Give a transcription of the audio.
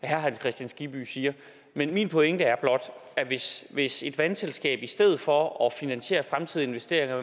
herre hans kristian skibby siger men min pointe er blot at hvis hvis et vandselskab i stedet for at finansiere fremtidige investeringer